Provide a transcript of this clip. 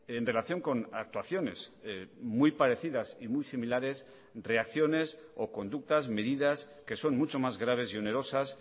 en relación con actuaciones muy parecidas y muy similares reacciones o conductas medidas que son mucho más graves y onerosas